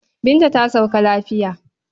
Binta ta sauka lafoya.